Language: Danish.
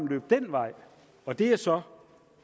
løbe den vej og det er så